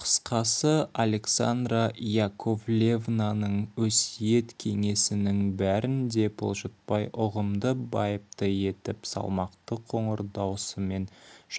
қысқасы александра яковлевнаның өсиет кеңесінің бәрін де бұлжытпай ұғымды байыпты етіп салмақты қоңыр даусымен